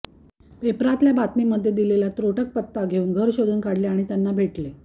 पेपरातल्या बातमीमध्ये दिलेला त्रोटक पत्ता घेऊन घर शोधुन काढले आणि त्यांना भेटले